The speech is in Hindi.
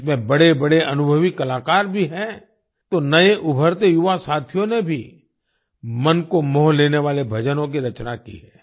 इसमें बड़ेबड़े अनुभवी कलाकार भी हैं तो नए उभरते युवा साथियों ने भी मन को मोह लेने वाले भजनों की रचना की है